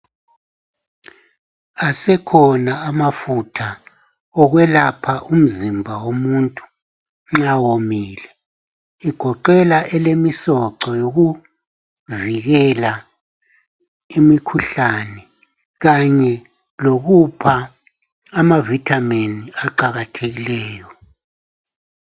Asekhona amafutha okwelapha umzimba womuntu nxa womile. Igoqela elemisoco yokuvikela imikhuhlane kanye lokupha ama vitamin aqakathekileyo.